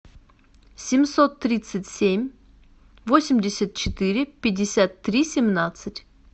семьсот тридцать семь восемьдесят четыре пятьдесят три семнадцать